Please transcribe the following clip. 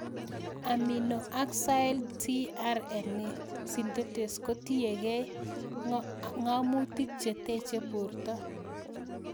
Aminoacyl tRNA synthetases kotiyegei ng'amutik che teche porto